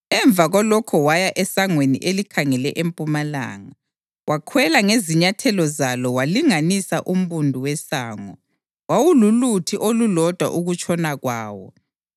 Emva kwalokho waya esangweni elikhangele empumalanga. Wakhwela ngezinyathelo zalo walinganisa umbundu wesango; wawululuthi olulodwa ukutshona kwawo.